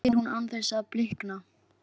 spyr hún án þess að blikna.